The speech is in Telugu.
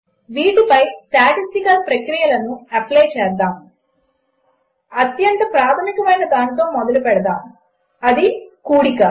వీటిపై స్టాటిస్టికల్ పరిక్రియలను అప్లై చేద్దాము అత్యంత ప్రాధమికమైన దానితో మొదలుపెడదాము కూడడము